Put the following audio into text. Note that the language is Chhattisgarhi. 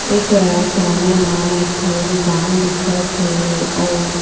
एकरा सामने म एक ठो दुकान दिखत हे अऊ--